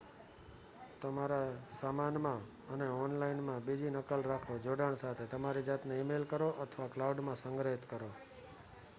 "તમારા સામાનમાં અને ઓનલાઇન માં બીજી નકલ રાખો જોડાણ સાથે તમારી જાતને ઈ-મેઈલ કરો, અથવા "ક્લાઉડ" માં સંગ્રહિત કરો.